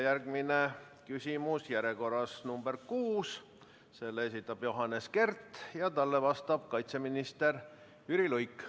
Järgmine küsimus on järjekorras nr 6, selle esitab Johannes Kert ja talle vastab kaitseminister Jüri Luik.